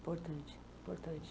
Importante, importante.